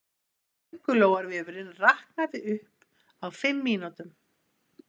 Köngulóarvefurinn raknaði upp á fimm mínútum